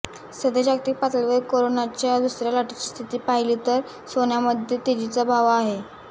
सध्या जागतिक पातळीवर करोनाच्या दुसऱ्या लाटेची स्थिती पहिली तर सोन्यामध्ये तेजीचा वाव आहे